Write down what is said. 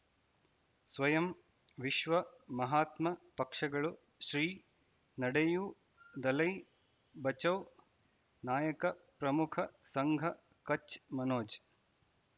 ಸ್ವಯಂ ವಿಶ್ವ ಮಹಾತ್ಮ ಪಕ್ಷಗಳು ಶ್ರೀ ನಡೆಯೂ ದಲೈ ಬಚೌ ನಾಯಕ ಪ್ರಮುಖ ಸಂಘ ಕಚ್ ಮನೋಜ್